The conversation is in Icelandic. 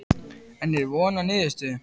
En er von á niðurstöðu?